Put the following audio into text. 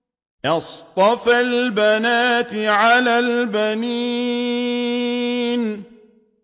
أَصْطَفَى الْبَنَاتِ عَلَى الْبَنِينَ